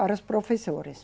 Para as professoras.